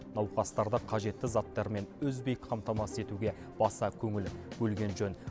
науқастарды қажетті заттармен үзбей қамтамасыз етуге баса көңіл бөлген жөн